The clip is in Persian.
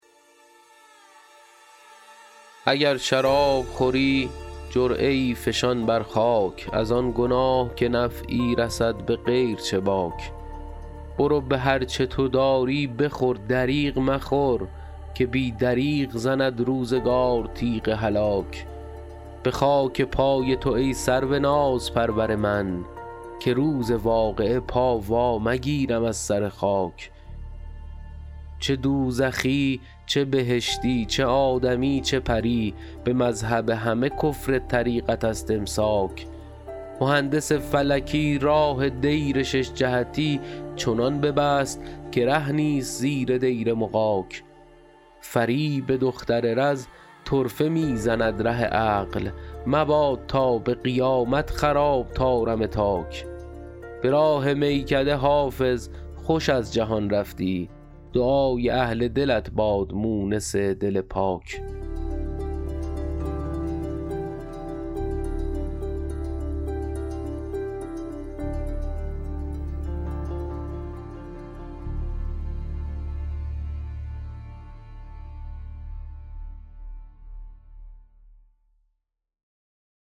اگر شراب خوری جرعه ای فشان بر خاک از آن گناه که نفعی رسد به غیر چه باک برو به هر چه تو داری بخور دریغ مخور که بی دریغ زند روزگار تیغ هلاک به خاک پای تو ای سرو نازپرور من که روز واقعه پا وا مگیرم از سر خاک چه دوزخی چه بهشتی چه آدمی چه پری به مذهب همه کفر طریقت است امساک مهندس فلکی راه دیر شش جهتی چنان ببست که ره نیست زیر دیر مغاک فریب دختر رز طرفه می زند ره عقل مباد تا به قیامت خراب طارم تاک به راه میکده حافظ خوش از جهان رفتی دعای اهل دلت باد مونس دل پاک